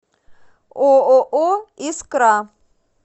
ооо искра